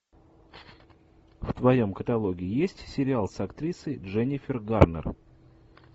в твоем каталоге есть сериал с актрисой дженнифер гарнер